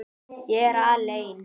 Ég er aleinn.